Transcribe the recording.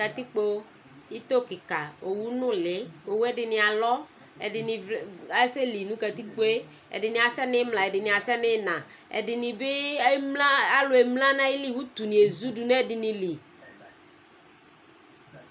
Katikpo, une kika , owu nʋli'dini'alɔɛdini asɛli nʋ katikpo yɛɛdini asɛ nu imla, ɛdini asɛ nʋ inaɛdini bi emla , alu emla nʋ aɣili uti ni ezu du nʋ ɛdinili